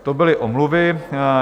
To byly omluvy.